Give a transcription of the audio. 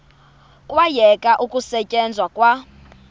kwayekwa ukusetyenzwa kwa